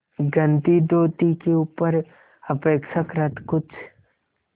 गंदी धोती के ऊपर अपेक्षाकृत कुछ